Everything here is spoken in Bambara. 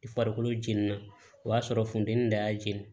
I farikolo jeninen na o y'a sɔrɔ funteni de y'a jeni